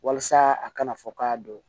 Walasa a kana fɔ k'a don